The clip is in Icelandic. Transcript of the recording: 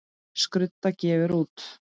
Skrudda gefur út.